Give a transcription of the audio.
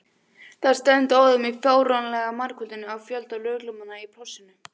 Það stefndi óðum í fáránlega margföldun á fjölda lögreglumanna í plássinu.